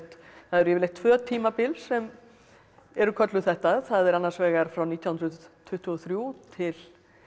það eru yfirleitt tvö tímabil sem eru kölluð þetta það er annars vegar frá nítján hundruð tuttugu og þrjú til